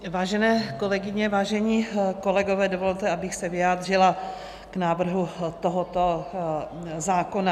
Vážené kolegyně, vážení kolegové, dovolte, abych se vyjádřila k návrhu tohoto zákona.